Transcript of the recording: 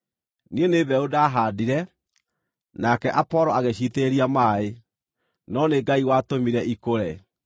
Niĩ nĩ mbeũ ndahaandire, nake Apolo agĩciitĩrĩria maaĩ, no nĩ Ngai watũmire ikũre.